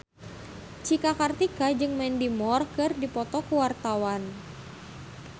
Cika Kartika jeung Mandy Moore keur dipoto ku wartawan